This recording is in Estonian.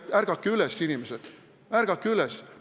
Ärgake üles, inimesed, ärgake üles!